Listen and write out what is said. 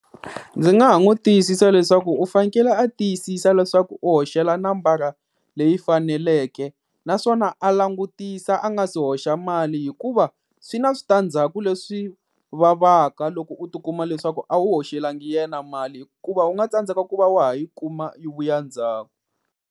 Ndzi nga ha n'wi tiyisisa leswaku u fanekele a tiyisisa leswaku u hoxela nambara leyi faneleke, naswona a langutisa a nga si hoxa mali. Hikuva swi na switandzhaku leswi vavaka loko u tikuma leswaku a wu hoxelangi yena mali hikuva u nga tsandzeka ku va wa ha yi kuma yi vuya ndzhaku.